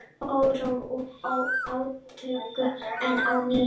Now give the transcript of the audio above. Órói og átök enn á ný